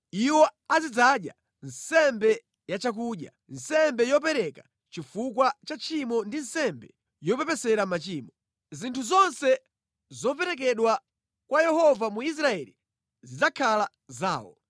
Iwo azidzadya nsembe ya chakudya, nsembe yopereka chifukwa cha tchimo ndi nsembe yopepesera machimo. Zinthu zonse zoperekedwa kwa Yehova mu Israeli zidzakhala zawo.